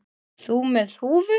Þú með húfu.